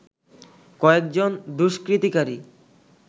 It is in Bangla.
কয়েকজন দুষ্কৃতিকারী